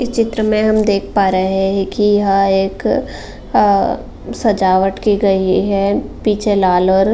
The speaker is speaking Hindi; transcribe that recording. इस चित्र में हम देख प रहे है कि यह एक अ सजावाट की गई है पीछे लाल और --